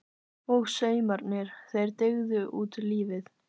Og saumarnir- þeir dygðu út lífið.